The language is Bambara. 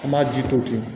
An b'a ji to ten